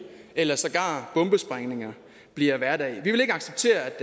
eller sågar bombesprængninger bliver hverdag vi vil ikke acceptere at